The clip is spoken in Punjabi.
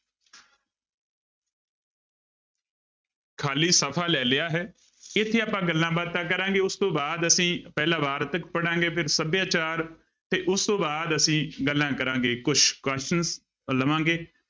ਖਾਲੀ ਸਫ਼ਾ ਲੈ ਲਿਆ ਹੈ, ਇੱਥੇ ਆਪਾਂ ਗੱਲਾਂ ਬਾਤਾਂ ਕਰਾਂਗੇ ਉਸ ਤੋਂ ਬਾਅਦ ਅਸੀਂ ਪਹਿਲਾਂ ਵਾਰਤਕ ਪੜ੍ਹਾਂਗੇ ਫਿਰ ਸਭਿਆਚਾਰ ਤੇ ਉਸ ਤੋਂ ਬਾਅਦ ਅਸੀਂ ਗੱਲਾਂ ਕਰਾਂਗੇ ਕੁਛ questions ਲਵਾਂਗੇ।